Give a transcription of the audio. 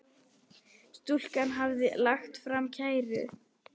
Stúlkan hafði lagt fram kæru.